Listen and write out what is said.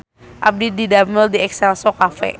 Abdi didamel di Exelco Cafe